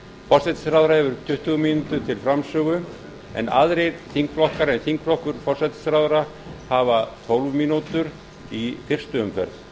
forsætisráðherra hefur tuttugu mínútur til framsögu en aðrir þingflokkar en þingflokkur forsætisráðherra hafa tólf mínútur í fyrstu umferð